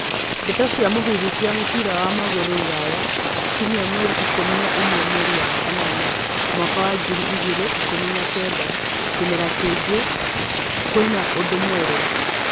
Ndeto cia mũhuhu cia mũbira wa magũrũ Rũraya kiumia mweri ikũmi na ĩmwe mweri wa kanana mwaka wa ngiri igĩrĩ ikũmi na kenda, kĩmera kĩngĩ, kwĩna ũndũ mwerũ?